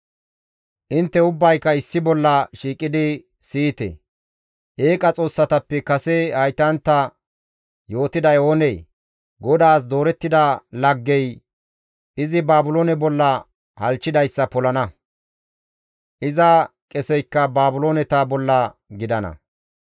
«Intte ubbayka issi bolla shiiqidi siyite; eeqa xoossatappe kase haytantta yootiday oonee? GODAAS doorettida laggey izi Baabiloone bolla halchchidayssa polana; iza qeseykka Baabilooneta bolla gidana.